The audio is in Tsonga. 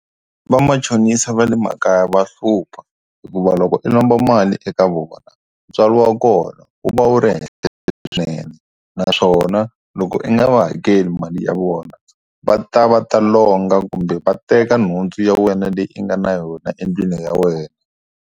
Va machonisa va le makaya va hlupha hikuva loko i lomba mali eka vona ntswalo wa kona u va u ri henhla swinene naswona loko i nga va hakela mali ya vona va ta va ta longa kumbe va teka nhundzu ya wena leyi u nga na yona endlwini ya wena.